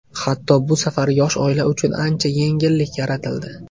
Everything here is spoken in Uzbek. Hatto bu safar yosh oila uchun ancha yengillik yaratildi.